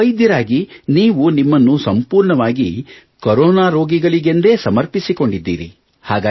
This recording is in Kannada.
ಒಬ್ಬ ವೈದ್ಯರಾಗಿ ನೀವು ನಿಮ್ಮನ್ನು ಸಂಪೂರ್ಣವಾಗಿ ಕರೋನಾ ರೋಗಿಗಳಿಗೆಂದೇ ಸಮರ್ಪಿಸಿಕೊಂಡಿದ್ದೀರಿ